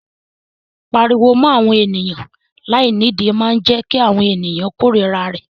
Pípariwo mọ́ àwọn ènìyàn láìnídìí máa jẹ́ kí àwọn ènìyàn kórira rẹ.